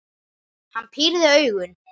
Hann pírði augun.